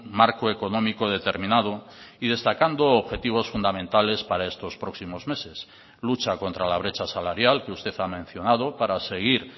marco económico determinado y destacando objetivos fundamentales para estos próximos meses lucha contra la brecha salarial que usted ha mencionado para seguir